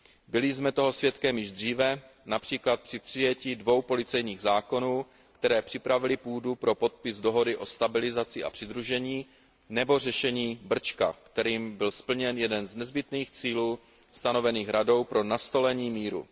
Byli jsme toho svědkem již dříve, například při přijetí dvou policejních zákonů, které připravily půdu pro podpis dohody o stabilizaci a přidružení, nebo řešení problematiky Brčka, kterým byl splněn jeden z nezbytných cílů stanovených Radou pro nastolení míru.